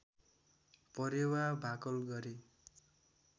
परेवा भाकल गरे